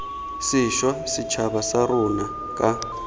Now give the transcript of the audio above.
sešwa setšhaba sa rona ka